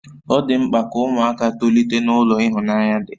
Ọ dị mkpa ka ụmụaka tolite n'ulo ịhụnanya dị